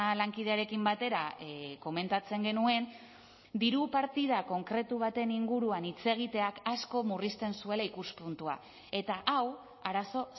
lankidearekin batera komentatzen genuen diru partida konkretu baten inguruan hitz egiteak asko murrizten zuela ikuspuntua eta hau arazo